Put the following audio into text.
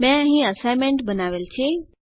મેં અહીં અસાઇનમેન્ટ બનાવેલ છે